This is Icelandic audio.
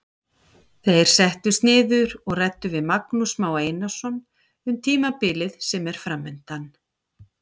Þeir settust niður og ræddu við Magnús Má Einarsson um tímabilið sem er framundan.